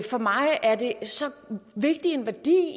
for mig er det så vigtig en værdi